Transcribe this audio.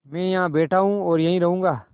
मैं यहाँ बैठा हूँ और यहीं रहूँगा